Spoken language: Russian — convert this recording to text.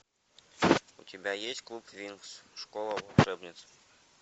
у тебя есть клуб винкс школа волшебниц